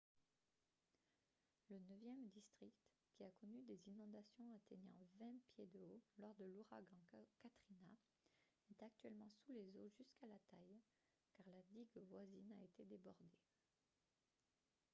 le neuvième district qui a connu des inondations atteignant 20 pieds de haut lors de l'ouragan katrina est actuellement sous les eaux jusqu'à la taille car la digue voisine a été débordée